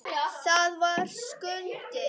Það var Skundi.